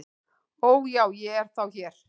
"""Ó, já, ég er þá hér"""